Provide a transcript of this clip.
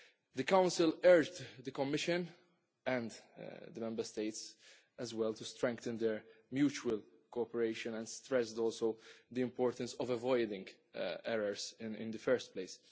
The Council urged the Commission, and the Member States as well, to strengthen their mutual cooperation and stressed also the importance of avoiding errors in the first place.